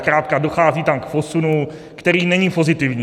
Zkrátka dochází tam k posunu, který není pozitivní.